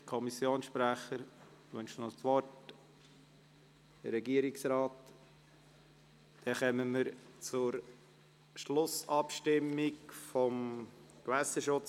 Wünschen der Kommissionssprecher oder der Regierungsrat nochmals das Wort?